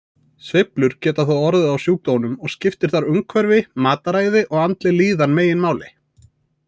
Sveiflur geta þó orðið á sjúkdómnum og skiptir þar umhverfi, mataræði og andleg líðan meginmáli.